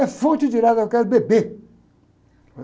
É fonte direta, eu quero beber.